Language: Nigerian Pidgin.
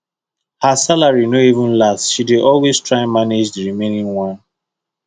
her salary no even last she dey always try manage the remaining one